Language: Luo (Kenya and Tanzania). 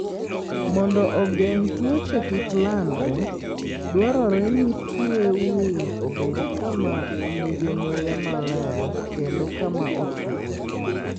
Mondo ogeng' tuoche kik landre, dwarore ni tue winy obed kama nigi muya maler kendo kama otwo.